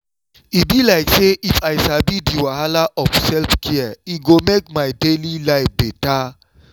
e be like say if i sabi the wahala of self-care e go make my daily life beta.